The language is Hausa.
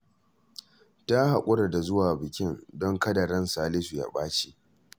Ta haƙura da zuwa bikin, don kada ran Salisu ya ɓaci